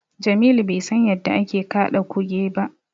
Jamilu bai san yadda ake kaɗa Kuge ba.